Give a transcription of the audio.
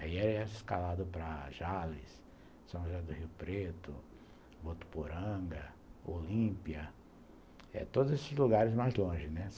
Aí era escalado para Jales, São José do Rio Preto, Votuporanga, Olímpia, todos esses lugares mais longe , né.